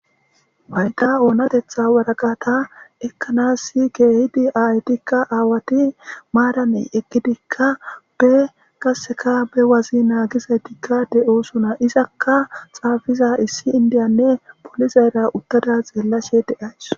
Wayda oonatetha waraqata ekkanassi keehidi ayetikka aawati maaraney eqkidikka be qaseka be wazi naagizaytikka de7osuna izakka xaafiza issi indiyanne polizayra uttada xeellashe de7ays.